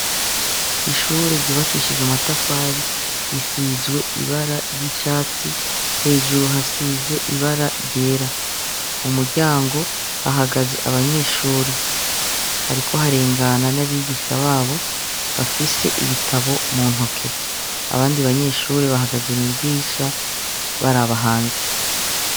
Ishure ryubakishijwe amatafari risizwe ibara ry'icatsi, hejuru hasize ibara ryera. Mu muryango hahagaze abanyeshure, hariko harengana n'abigisha babo bafise ibitabo mu ntoke. Abandi banyeshure bahagaze mw'idirisha baraba hanze.